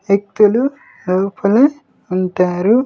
వ్యక్తులు లోపల ఉంటారు.